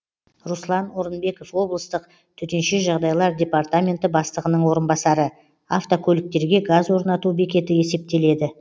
руслан орынбеков облыстық тжд бастығының орынбасары автокөліктерге газ орнату бекеті есептеледі